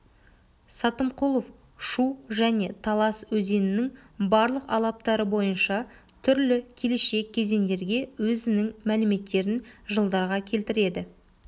сатымқұлов шу және талас өзенінің барлық алаптары бойынша түрлі келешек кезеңдерге өзінің мәліметтерін жылдарға келтіреді